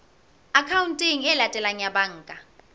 akhaonteng e latelang ya banka